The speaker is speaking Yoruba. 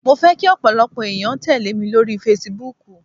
Mo fẹ́ kí ọ̀pọ̀lọpọ̀ ẹ̀yàn tẹ́lẹ̀ mi lórí Facebook.